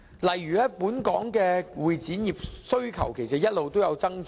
例如，本港的會展業需求其實一直有所增長。